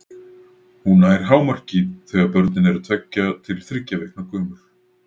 Hún nær hámarki þegar börnin eru tveggja til þriggja vikna gömul.